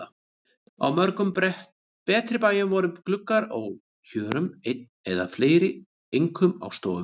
Á mörgum betri bæjum voru gluggar á hjörum einn eða fleiri, einkum á stofum.